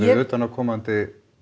utanaðkomandi